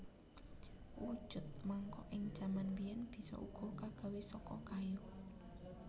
Wujud mangkok ing jaman biyen bisa uga kagawe saka kayu